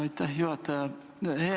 Aitäh, juhataja!